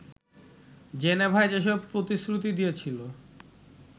জেনেভায় যেসব প্রতিশ্রুতি দিয়েছিল